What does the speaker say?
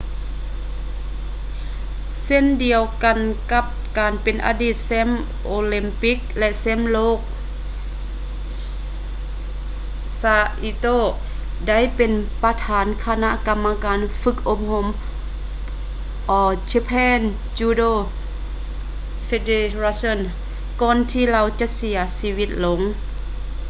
ເຊັ່ນດຽວກັນກັບການເປັນອະດີດແຊ້ມໂອລິມປິກ ແລະ ແຊ້ມໂລກ saito ໄດ້ເປັນປະທານຄະນະກຳມະການຝຶກອົບຮົມ all japan judo federation ກ່ອນທີ່ລາວຈະເສຍຊີວິດລົງ